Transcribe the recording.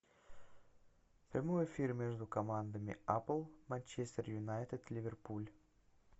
прямой эфир между командами апл манчестер юнайтед ливерпуль